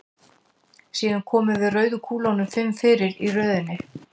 Síðan komum við rauðu kúlunum fimm fyrir í röðinni.